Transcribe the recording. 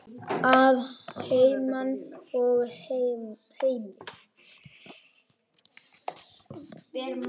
Að heiman og heim.